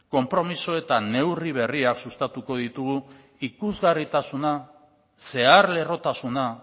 konpromiso eta neurri berriak sustatuko ditugu ikusgarritasuna zeharlerrotasuna